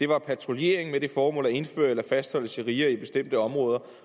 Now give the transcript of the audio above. var patruljering med det formål at indføre eller fastholde sharia i bestemte områder